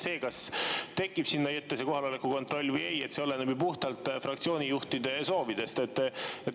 See, kas tekib sinna ette see kohaloleku kontroll või ei, oleneb ju puhtalt fraktsioonijuhtide soovidest.